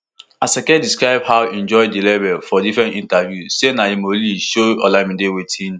asake describe how im join di label for different interviews say na yhemoleee show olamide wetin